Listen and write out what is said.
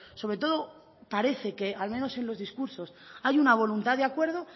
sobre todo parece que al menos en los discursos hay una voluntad de acuerdo